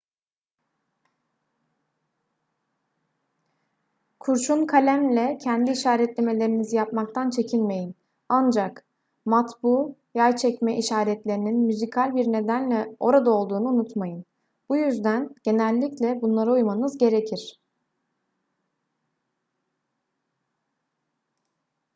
kurşun kalemle kendi işaretlemelerinizi yapmaktan çekinmeyin ancak matbu yay çekme işaretlerinin müzikal bir nedenle orada olduğunu unutmayın bu yüzden genellikle bunlara uymanız gerekir